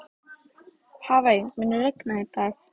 Hafey, mun rigna í dag?